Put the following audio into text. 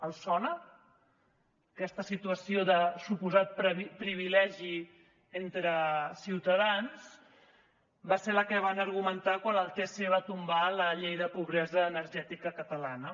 els sona aquesta situació de suposat privilegi entre ciutadans va ser la que van argumentar quan el tc va tombar la llei de pobresa energètica catalana